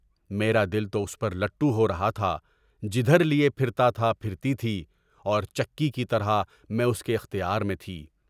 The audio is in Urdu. میرا دل پر لٹّو ہو رہا تھا، جب وہ میرے لیے پھرتا تھا، پھرتی تھی اور چکی کی طرح میں اس کے اختیار میں تھی۔